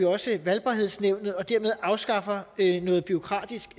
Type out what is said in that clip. også valgbarhedsnævnet og dermed afskaffer vi noget bureaukratisk